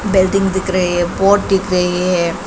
Building दिख रही है बोर्ड दिख रही है।